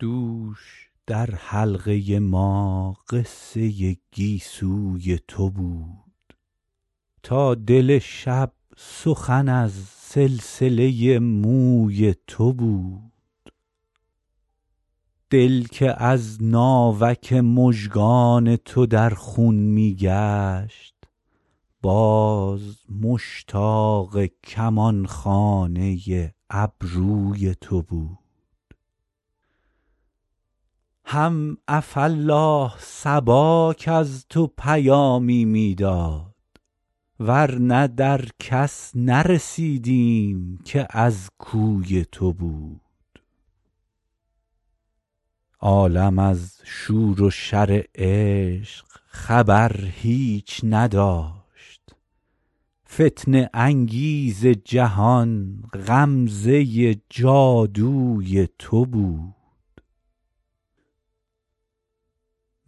دوش در حلقه ما قصه گیسوی تو بود تا دل شب سخن از سلسله موی تو بود دل که از ناوک مژگان تو در خون می گشت باز مشتاق کمان خانه ابروی تو بود هم عفاالله صبا کز تو پیامی می داد ور نه در کس نرسیدیم که از کوی تو بود عالم از شور و شر عشق خبر هیچ نداشت فتنه انگیز جهان غمزه جادوی تو بود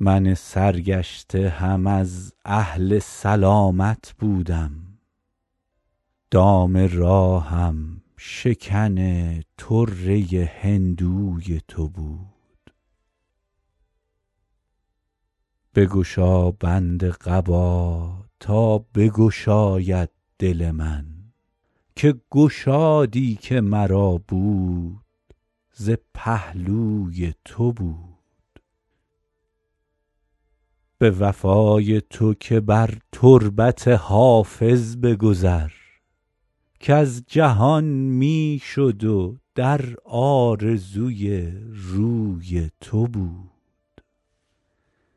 من سرگشته هم از اهل سلامت بودم دام راهم شکن طره هندوی تو بود بگشا بند قبا تا بگشاید دل من که گشادی که مرا بود ز پهلوی تو بود به وفای تو که بر تربت حافظ بگذر کز جهان می شد و در آرزوی روی تو بود